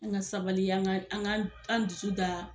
An ka sabali, an k'an dusu da